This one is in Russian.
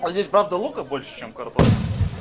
а здесь правда лука больше чем картошки